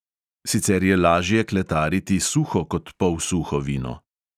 Sicer je lažje kletariti suho kot polsuho vino.